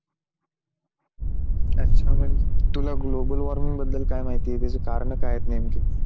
अच्छा मग तुला global warming बद्दल काय माहिती आहे? त्याचे कारण काय आहेत नेमके?